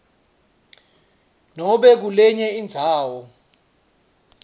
nobe kulenye indzawo